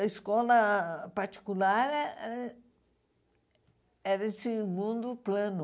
A escola particular eh eh era em segundo plano.